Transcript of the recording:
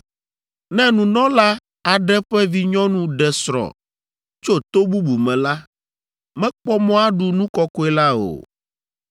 Ne nunɔla aɖe ƒe vinyɔnu ɖe srɔ̃ tso to bubu me la, mekpɔ mɔ aɖu nu kɔkɔe la o.